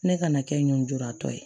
Ne kana kɛ njuratɔ ye